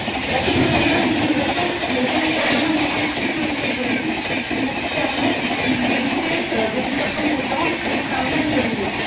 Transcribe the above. La question de la nouvelle utilisation est véritablement une question de sécurité juridique, pour permettre d'éviter des distorsions de concurrence au sein même de l'Union.